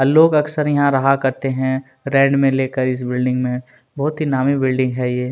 और लोग अक्सर यहाँ रहा करते है रैड में लेकर इस बिल्डिंग में बहुत ही नामी बिल्डिंग है ये --